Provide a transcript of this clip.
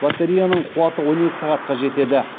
батареяның қуаты он екі сағатқа жетеді